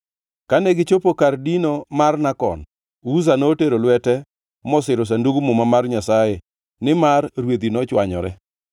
Kane gichopo kar dino mar Nakon, Uza notero lwete mosiro Sandug Muma mar Nyasaye nimar rwedhi nochwanyore.